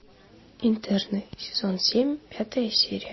интерны сезон семь пятая серия